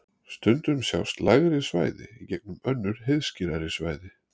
Stundum sjást lægri svæði í gegnum önnur heiðskírari svæði.